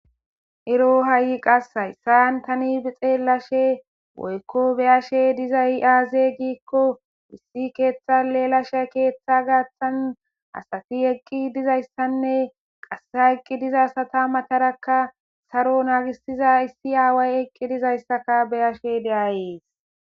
Ero hai qassi hassan tani xelashe woyko beashe dizay aze giko issi keththe lelashe keththa gaththan asati eqqi dizassane qase ha eqqi diza asata maataraka saroo naggisiza issi away eqqi dizayssaka be'ashe de7aysi.